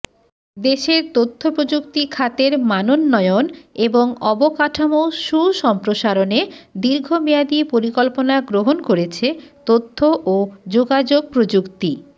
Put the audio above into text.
দেশের তথ্যপ্রযুক্তি খাতের মানোন্নয়ন এবং অবকাঠামো সুসম্প্রসারণে দীর্ঘমেয়াদি পরিকল্পনা গ্রহণ করেছে তথ্য ও যোগাযোগ প্রযুক্তি